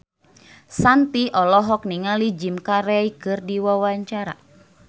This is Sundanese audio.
Shanti olohok ningali Jim Carey keur diwawancara